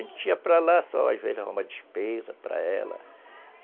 A gente ia para lá só, às vezes, arrumava despesas para ela.